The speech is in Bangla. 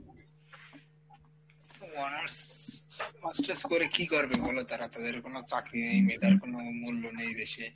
honors masters করে কী করবে বলো তারা তাদের কোনো চাকরি তার কোনো মূল্য নেই দেশে,